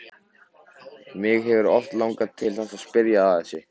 Mig hefur oft langað til að spyrja þig að þessu.